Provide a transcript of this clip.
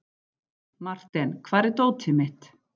Marten, hvar er dótið mitt?